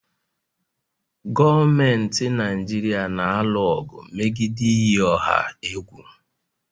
Gọọmentị Naijiria na-alụ ọgụ megide iyi ọha egwu